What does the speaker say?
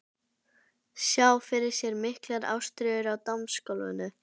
Sá fyrir sér miklar ástríður á dansgólfinu.